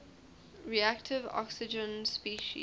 reactive oxygen species